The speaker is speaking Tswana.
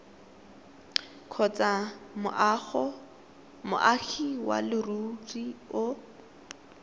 kgotsa moagi wa leruri o